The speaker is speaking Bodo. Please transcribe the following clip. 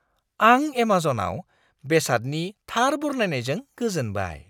आं एमाजनआव बेसादनि थार बरनायनायजों गोजोनबाय।